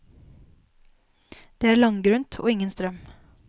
Det er langgrunt og ingen strøm.